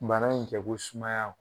Bana in tɛ ko sumaya